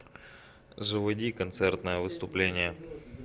заводи концертное выступление